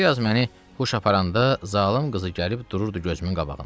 Bir az məni huş aparanda zalım qızı gəlib dururdu gözümün qabağında.